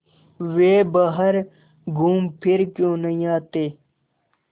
वे बाहर घूमफिर क्यों नहीं आते